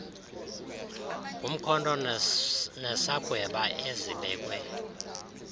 ngumkhonto nesagweba ezibekwe